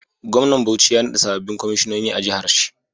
Gwamnan bauchi ya nada sabobin kwaishinoni a jahar shi